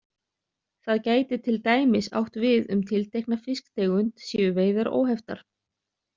Það gæti til dæmis átt við um tiltekna fisktegund séu veiðar óheftar.